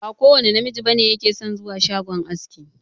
Ba kowanne namiji bane yake son zuwa shagon aski.